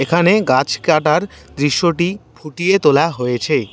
এখানে গাছকাটার দৃশ্যটি ফুটিয়ে তোলা হয়েছে।